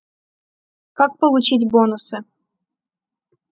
как получить бонусы